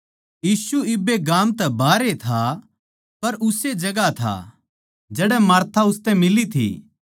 यीशु इब्बे गाम तै बाहरे था पर उस्से जगहां था जड़ै मार्था उसतै मिली थी